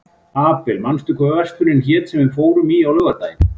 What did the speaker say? Abel, manstu hvað verslunin hét sem við fórum í á laugardaginn?